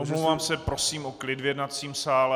Omlouvám se, prosím o klid v jednacím sále.